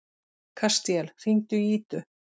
Kastíel, hringdu í Ídu.